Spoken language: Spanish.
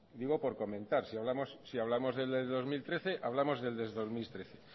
digo por comentar si hablamos del de dos mil trece hablamos del de dos mil trece